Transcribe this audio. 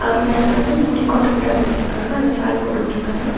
அவர் மேல வந்து அந்த முடி கொட்ட கூடாதுன்றதுக்காக அந்த ஷால் போட்டு உட்ருக்காங்க.